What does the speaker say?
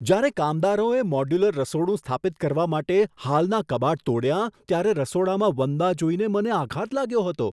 જ્યારે કામદારોએ મોડ્યુલર રસોડું સ્થાપિત કરવા માટે હાલનાં કબાટ તોડ્યાં, ત્યારે રસોડામાં વંદા જોઈને મને આઘાત લાગ્યો હતો.